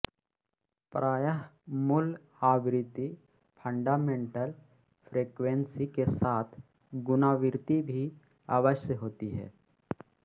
प्रायः मूल आवृत्ति फण्डामेण्टल फ्रेक्वेन्सी के साथ गुणावृत्ति भी अवश्य होती है